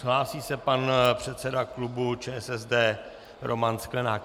Hlásí se pan předseda klubu ČSSD Roman Sklenák.